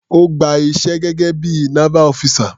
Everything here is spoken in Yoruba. Ó gba iṣẹ́ gẹ́gé bí i naval officer.